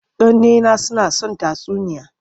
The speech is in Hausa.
Ƙannena suna son tatsuniya.